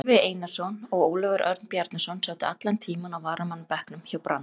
Gylfi Einarsson og Ólafur Örn Bjarnason sátu allan tímann á varamannabekknum hjá Brann.